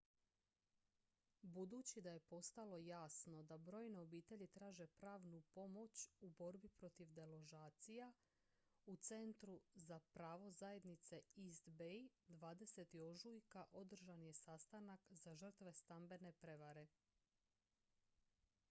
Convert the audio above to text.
budući da je postalo jasno da brojne obitelji traže pravnu pomoć u borbi protiv deložacija u centru za pravo zajednice east bay 20. ožujka održan je sastanak za žrtve stambene prevare